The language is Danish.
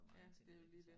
Ja det er jo lige det